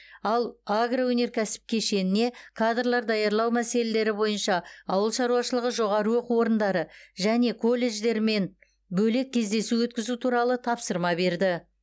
ал агроөнеркәсіп кешеніне кадрлар даярлау мәселелері бойынша ауыл шаруашылығы жоғары оқу орындары және колледждермен бөлек кездесу өткізу туралы тапсырма берді